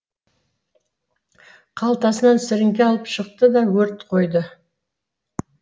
қалтасынан сіріңке алып шықты да өрт қойды